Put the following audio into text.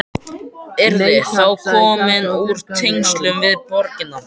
Yrðir þá komin úr tengslum við borgina.